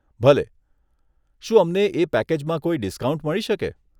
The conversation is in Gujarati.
ભલે, શું અમને એ પેકેજમાં કોઈ ડિસ્કાઉન્ટ મળી શકે?